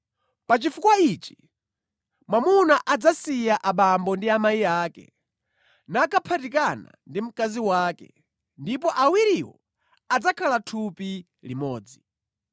“Pa chifukwa ichi, mwamuna adzasiya abambo ndi amayi ake nakaphatikana ndi mkazi wake, ndipo awiriwo adzakhala thupi limodzi.”